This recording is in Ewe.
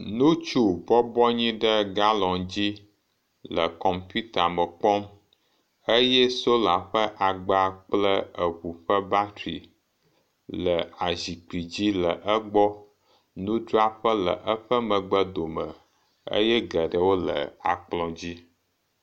Ŋutsu bɔbɔ anyi ɖe galonu dzi le kɔmputa me kpɔm eye sola kple agba kple eŋu ƒe batri le azikpui dzi le egbɔ, nudzraƒe le eƒe megbe dome eye geɖewo le akplɔ dzi.